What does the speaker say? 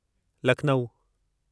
Lucknow